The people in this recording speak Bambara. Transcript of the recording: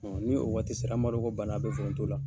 ni o waati sera banna a be foronto la.